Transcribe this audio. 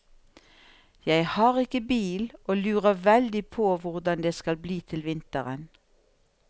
Jeg har ikke bil og lurer veldig på hvordan det skal bli til vinteren.